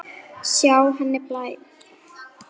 Sjá henni blæða.